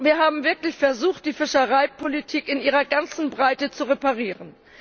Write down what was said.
Wir haben wirklich versucht, die Fischereipolitik in ihrer ganzen Breite zu reparieren.